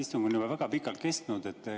Istung on juba väga pikalt kestnud.